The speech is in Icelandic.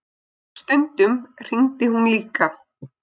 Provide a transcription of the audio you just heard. Stundum hringdi hún líka.